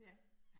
Ja